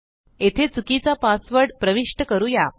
येथे चुकीचा पासवर्ड प्रविष्ट करूया